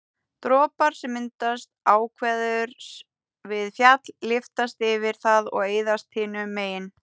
dropar sem myndast áveðurs við fjall lyftast yfir það og eyðast hinu megin